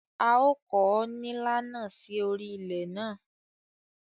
À ó kọ̀ nílà náà sí orí ilẹ̀ ná.